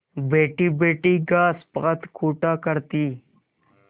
बैठीबैठी घास पात कूटा करती